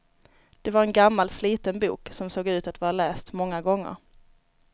Det var en gammal sliten bok, som såg ut att vara läst många gånger.